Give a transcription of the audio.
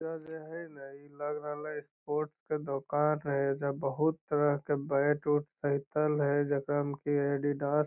ई जे हई न ई लग रहलै स्पोर्ट्स के दुकान है एजा बहुत तरह के बैट उट सहितल हइ जेकरा में की एडिडास --